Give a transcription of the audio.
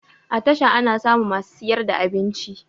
A tasha ana samun masu siyar da abinci